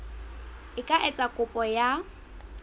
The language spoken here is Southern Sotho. a ka etsa kopo ya